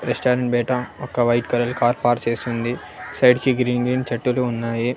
Restaurant బయట ఒక white colour car park చేసూంది సైడ్ కి గ్రీన్ గ్రీన్ చెట్టులు ఉన్నాయి.